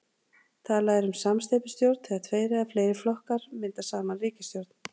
talað er um samsteypustjórn þegar tveir eða fleiri flokkar mynda saman ríkisstjórn